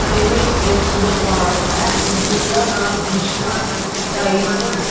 ਇਹ ਇੱਕ ਦੁਕਾਨ ਹੈ ਜਿਸਦਾ ਨਾਮ ਕ੍ਰਿਸ਼ਨਾ ਟਾਈਪ --